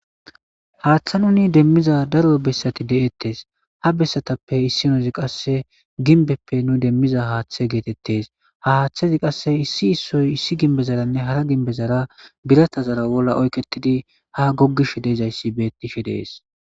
haaththa nuni demmiza daro bessati de7ettes ha bessatappe issinozi qasse ginbeppe nu demmiza haaththe geetettes ha haaththezi qasse issi issoy issi ginbezaranne hara ginbezara biratazara bolla oyketidi ha goggish deezayssi beettishe dees